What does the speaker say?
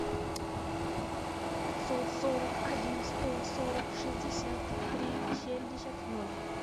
пятьсот сорок один сто сорок шестьдесят три семьдесят ноль